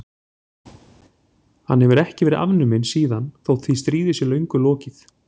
Hann hefur ekki verið afnuminn síðan þótt því stríði sé löngu lokið.